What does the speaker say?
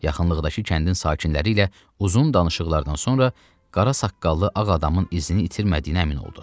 Yaxınlıqdakı kəndin sakinləri ilə uzun danışıqlardan sonra qara saqqallı ağ adamın izini itirmədiyinə əmin oldu.